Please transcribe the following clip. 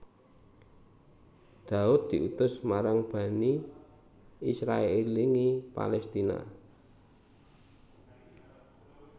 Daud diutus marang Bani Israèlingi Palestina